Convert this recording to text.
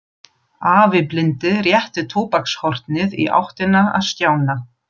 Afi blindi rétti tóbakshornið í áttina að Stjána.